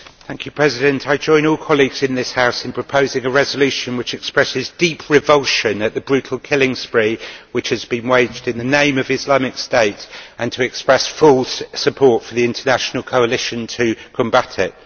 Madam President, I join all colleagues in this House in proposing a resolution which expresses deep revulsion at the brutal killing spree which has been waged in the name of Islamic State and expresses full support for the international coalition to combat it.